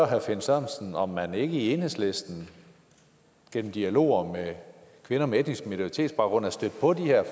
herre finn sørensen om man ikke i enhedslisten gennem dialoger med kvinder med etnisk minoritetsbaggrund er stødt på de her